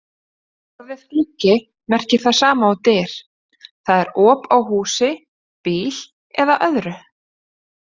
Orðið gluggi merkir það sama og dyr, það er op á húsi, bíl eða öðru.